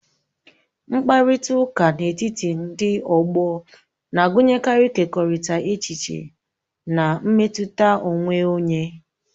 Mkparịta ụka n'etiti ndị ọgbọ na-agụnyekarị ịkekọrịta echiche na mmetụta onwe onye.